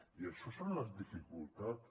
i això són les dificultats